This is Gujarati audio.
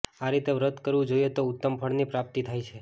આ રીતે વ્રત કરવું જોઈએ તો ઉત્તમ ફળની પ્રાપ્તિ થાય છે